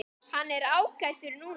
Hann er ágætur núna.